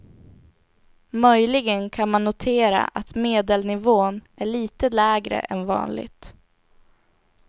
Möjligen kan man notera att medelnivån är lite lägre än vanligt.